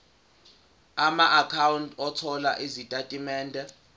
amaakhawunti othola izitatimende